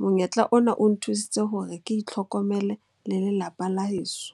Monyetla ona o nthusitse hore ke itlhokomele le lelapa la heso.